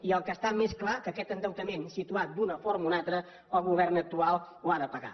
i el que està més clar que aquest endeutament situat d’una forma o una altra el govern actual l’ha de pagar